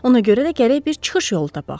Ona görə də gərək bir çıxış yolu tapaq.